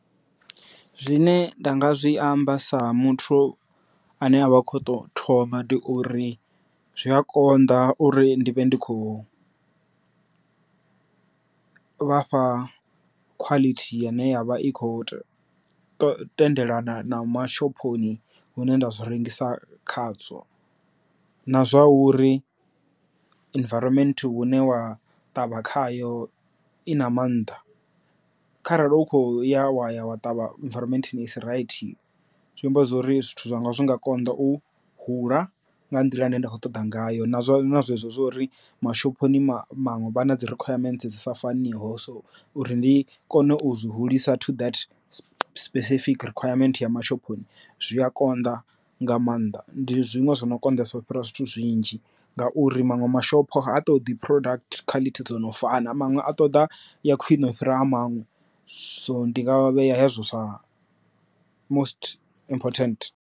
Zwine nda nga zwi amba sa muthu ane a vha kho to thoma ndi uri zwi a konḓa uri ndi vhe ndi khou vhafha khwalithi ya ine yavha i kho tendelana na mashophoni hune nda zwi rengisa khadzo. Na zwa uri environment hune wa ṱavha khayo i na maanḓa kharali hu kho ya wa ya wa ṱavha environment isi rights zwi amba zwori zwithu zwa nga zwi nga konḓa u hula nga nḓila ine nda kho ṱoḓa ngayo. Nazwo na zwezwo zwa uri mashophoni maṅwe vha na dzi rikhwayamenthe dzi sa faniho so uri ndi kone u zwi hulisa to specific requirements ya mashophoni zwi a konḓa nga maanḓa ndi zwiṅwe zwi no konḓisa u fhira zwithu zwinzhi ngauri maṅwe mashopo ha to ḓi product khwalithi dzo no fana manwe a ṱoḓa ya khwine ufhira a maṅwe so ndi nga vhea hezwo sa most important.